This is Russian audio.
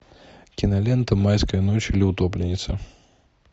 кинолента майская ночь или утопленница